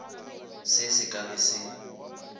se se ka be se